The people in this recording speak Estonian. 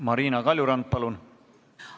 Marina Kaljurand, palun!